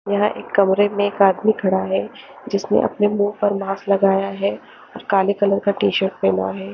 यहा एक कमरे में एक आदमी खड़ा है जिसने अपने मुंह पर मास्क लगाया है और काले कलर का टी शर्ट पहना है।